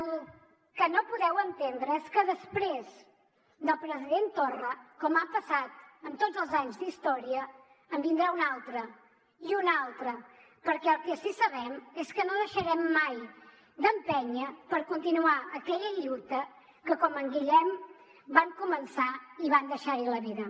el que no podeu entendre és que després del president torra com ha passat en tots els anys d’història en vindrà un altre i un altre perquè el que sí que sabem és que no deixarem mai d’empènyer per continuar aquella lluita que com en guillem van començar i van deixar hi la vida